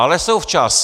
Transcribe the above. Ale jsou včas.